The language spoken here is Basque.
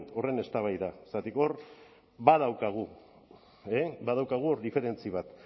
horren eztabaida zergatik hor badaukagu e badaukagu hor diferentzi bat